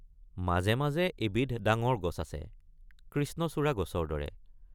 মাজে মাজে এবিধ ডাঙৰ গছ আছে কৃষ্ণচূড়া গছৰ দৰে।